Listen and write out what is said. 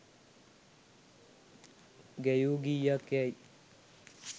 ගැයූ ගීයක් යැයි